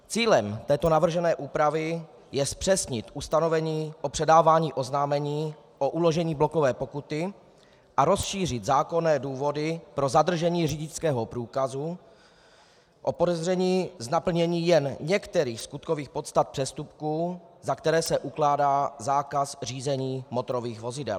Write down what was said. Cílem této navržené úpravy je zpřesnit ustanovení o předávání oznámení o uložení blokové pokuty a rozšířit zákonné důvody pro zadržení řidičského průkazu o podezření z naplnění jen některých skutkových podstat přestupků, za které se ukládá zákaz řízení motorových vozidel.